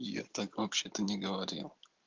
я так вообще-то не говорил